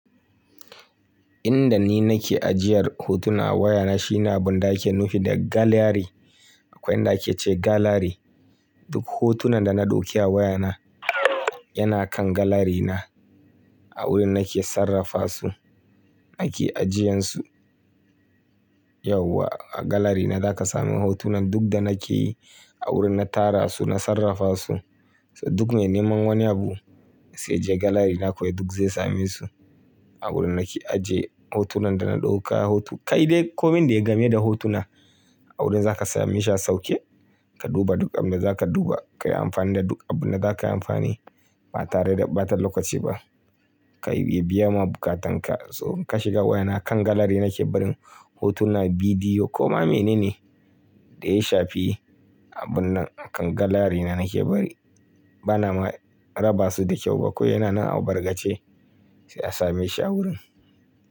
Inda ni nake ajiyar hotuna a wayana shine abun da ake nufi da galari. Akwai inda ake ce galari. Duk hotunan da na ɗauke a wayana yana kan galarina a wurin nake sarrafa su, nake ajiyensu. Yau a galari na zaka samu hotunan duk da nake yi a wurin na tara su, na sarrafa su. So duk mai neman wani abu sai ya je galari na kawai duk zai same su. A wurin nake ajiye hotunan da na ɗauka hotu. Kai dai komin dai game da hotuna a wurin za ka same shi a sauke, ka duba duk abin da za ka duba, ka yi amfani da duk abin da za ka yi amfani ba tare da ɓatar lokaci ba. Ka iya biya ma bukatanka. So in ka shiga wayana kan galari nake barin hotuna, bidiyo ko ma mene ne da ya shafi, abun nan akan galari na nake bari. Bana ma raba su da kyau ba kawai yana nan a bargace sai a same shi a wurin.